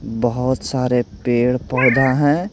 बहुत सारे पेड़-पौधा हैं।